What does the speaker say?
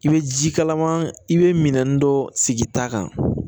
I bɛ ji kalaman i bɛ minani dɔ sigi i ta kan